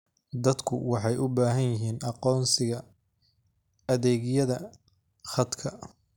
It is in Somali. Dadku waxay u baahan yihiin aqoonsiga adeegyada khadka.